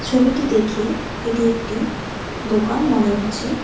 ছবিটি দেখে এটি একটি দোকান মনে হচ্ছে।